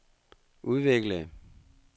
udviklede